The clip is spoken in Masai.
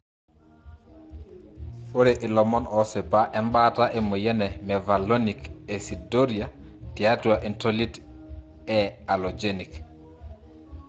Ore ilomon osipa embaata emoyian e mevalonic aciduria tiatua entolit e allogenic.